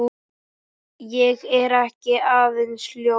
Ég er ekki aðeins ljón.